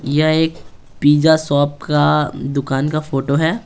यह एक pizza shop का दुकान का फोटो है।